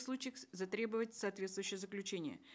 случаях затребовать соответствующее заключение